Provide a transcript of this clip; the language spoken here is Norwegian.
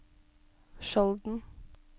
Skjolden